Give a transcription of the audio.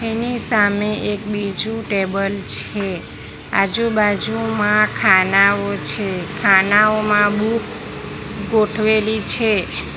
એની સામે એક બીજું ટેબલ છે આજુબાજુમાં ખાનાઓ છે ખાનાઓમાં બુક ગોઠવેલી છે.